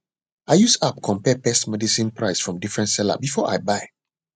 i use app compare pest medicine price from different seller before i buy